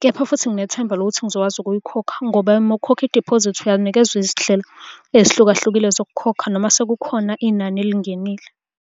kepha futhi nginethemba lokuthi ngizokwazi ukuyikhokha ngoba uma ukhokha Idiphozithi uyanikezwa izindlela ezihlukahlukile zokukhokha noma sekukhona inani elingenile.